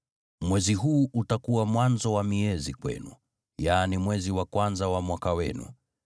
“Mwezi huu utakuwa mwanzo wa miezi kwenu, yaani mwezi wa kwanza wa mwaka wenu.